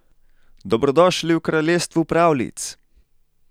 Dobrodošli v kraljestvu pravljic!